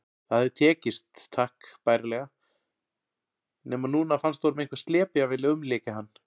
Það hafði tekist takk bærilega, nema núna fannst honum einhver slepja vilja umlykja hann.